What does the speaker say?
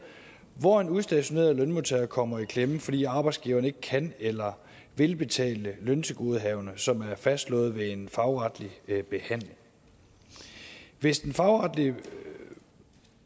hvor en udstationeret lønmodtager kommer i klemme fordi arbejdsgiveren ikke kan eller vil betale løntilgodehavender som er fastslået ved en fagretlig behandling hvis den fagretlige